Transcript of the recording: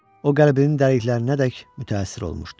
O qəlbinin dərinliklərinədək mütəəssir olmuşdu.